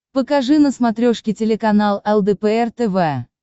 покажи на смотрешке телеканал лдпр тв